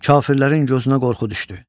Kafirlərin gözünə qorxu düşdü.